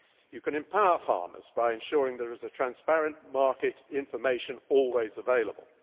You can empower farmers by ensuring that there is transparent market information always available